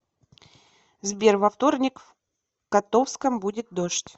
сбер во вторник в котовском будет дождь